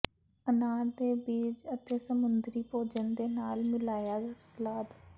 ਅਨਾਰ ਦੇ ਬੀਜ ਅਤੇ ਸਮੁੰਦਰੀ ਭੋਜਨ ਦੇ ਨਾਲ ਮਿਲਾਇਆ ਸਲਾਦ